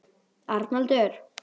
Arnaldur